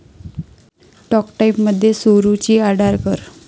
talk टाइम'मध्ये सुरुची आडारकर